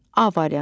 A variantı.